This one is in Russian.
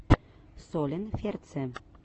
солин ферце